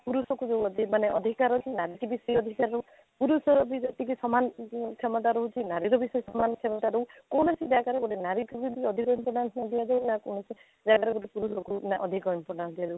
ପୁରୁଷକୁ ବି ମଧ୍ୟ ମାନେ ଅଧିକାର ନାରୀକୁ ବି ସେଇ ଅଧିକାର ପୁରୁଷ ଜାତି କି ସମାନ କ୍ଷମତା ରହୁଛି ନାରୀର ବି ସେଇ ସମାନ କ୍ଷମତା ରହୁ କୌଣସି ଜାଗାରେ ଗୋଟେ ନାରୀକୁ ବି ମଧ୍ୟ ଅଧିକ importance ଦିଆ ଯାଏ ନା କୌଣସି ଜାଗାରେ କୌଣସି ପୁରୁଷ ଲୋକଙ୍କୁ ନା ଅଧିକ importance ଦିଆ ଯାଉଛି